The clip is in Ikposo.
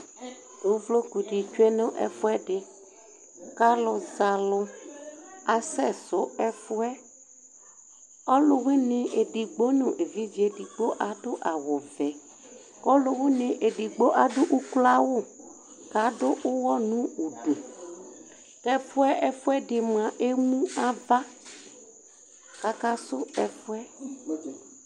Ʋvlokʋdi tsʋe nʋ ɛfʋɛdi, kʋ alʋzɛalʋ asɛsʋ ɛfʋ yɛ ɔlʋwini edigbo nʋ evidze edigbo, adʋ awʋvɛ Kʋ ɔlʋwini edigbo adʋ ʋkloawʋ, kʋ adʋ ʋwɔ nʋ ʋdʋ kʋ ɛfʋɛdi mʋa emʋ ava kʋ akasʋ ɛfʋ yɛ